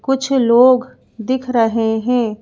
कुछ लोग दिख रहे हैं।